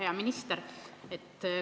Hea minister!